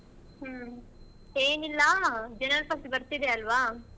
ಹ್ಮ್ ಏನಿಲ್ಲಾ January first ಬರ್ತಿದ್ದೆ ಅಲ್ವಾ?